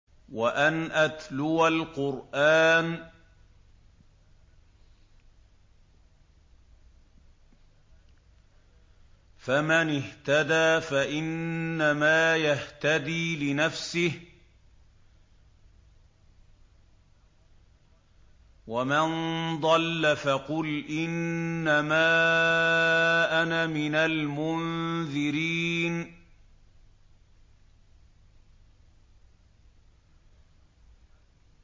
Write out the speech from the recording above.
وَأَنْ أَتْلُوَ الْقُرْآنَ ۖ فَمَنِ اهْتَدَىٰ فَإِنَّمَا يَهْتَدِي لِنَفْسِهِ ۖ وَمَن ضَلَّ فَقُلْ إِنَّمَا أَنَا مِنَ الْمُنذِرِينَ